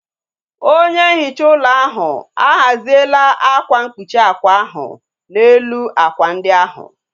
Onye nhicha ụlọ ahu a ghaziela akwa mkpuchi ákwà ahu n'elu ákwà ndị ahu